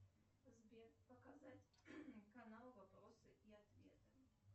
сбер показать канал вопросы и ответы